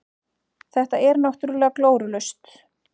Þetta er náttúrulega glórulaust.